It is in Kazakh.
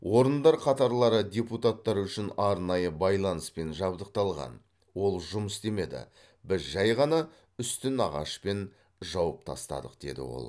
орындар қатарлары депутаттар үшін арнайы байланыспен жабдықталған ол жұмыс істемеді біз жай ғана үстін ағашпен жауып тастадық деді ол